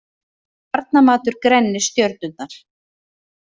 Barnamatur grennir stjörnurnar